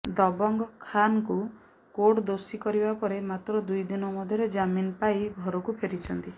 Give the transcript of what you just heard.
ଦବଙ୍ଗ ଖାନଙ୍କୁ କୋର୍ଟ ଦୋଷୀ କରିବା ପରେ ମାତ୍ର ଦୁଇଦିନ ମଧ୍ୟରେ ଜାମିନ ପାଇ ଘରକୁ ଫେରିଛନ୍ତି